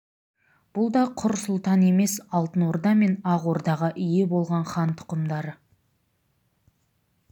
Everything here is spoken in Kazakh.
бұл да құр сұлтан емес алтын орда мен ақ ордаға ие болған хан тұқымдары